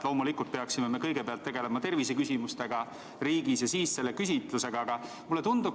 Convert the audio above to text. Loomulikult peaksime me kõigepealt tegelema terviseküsimustega riigis ja siis selle küsitlusega.